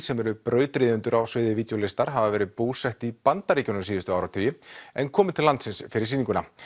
sem eru brautryðjendur á sviði hafa verið búsett í Bandaríkjunum síðustu áratugi en komu til landsins fyrir sýninguna